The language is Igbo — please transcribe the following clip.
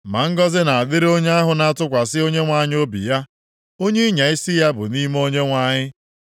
“Ma ngọzị na-adịrị onye ahụ na-atụkwasị Onyenwe anyị obi ya. Onye ịnya isi ya bụ nʼime Onyenwe anyị.